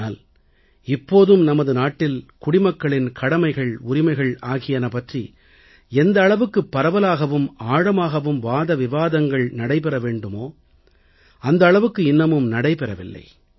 ஆனால் இப்போதும் நமது நாட்டில் குடிமக்களின் கடமைகள் உரிமைகள் ஆகியன பற்றி எந்த அளவுக்குப் பரவலாகவும் ஆழமாகவும் வாதவிவாதங்கள் நடைபெற வேண்டுமோ அந்த அளவுக்கு இன்னமும் நடைபெறவில்லை